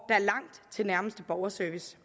er langt til nærmeste borgerservice